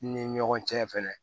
I ni ɲɔgɔn cɛ fɛnɛ